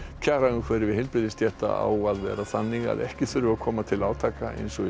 kjaraumhverfi heilbrigðisstétta á að vera þannig að ekki þurfi að koma til átaka eins og í